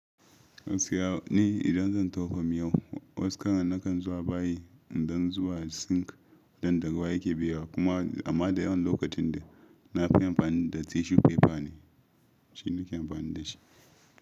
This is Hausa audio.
Gaskiya ni idan zan tofa miyau, was karan na kan zuwa bayi in dan zuba sink don daru waya ke biyowa kuma amma da yawan lokacin dai nafi amfani da tissue paper ne, shi nake amfani da shi.